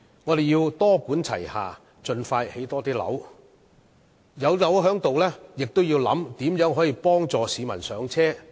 我們要多管齊下，盡快興建更多樓宇，而在樓宇建成後，亦要想一想如何幫助市民"上車"。